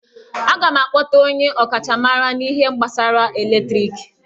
Aga m akpọta onye ọkachamara n'ihe gbasara eletriki